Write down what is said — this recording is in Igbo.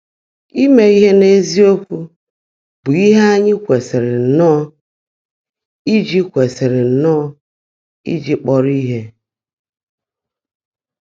Ímé íhe n’ézíokwú bụ́ íhe ányị́ kwèsị́rị́ nnọ́ọ́ íjí kwèsị́rị́ nnọ́ọ́ íjí kpọ́rọ́ íhe.